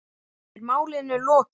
Er málinu lokið?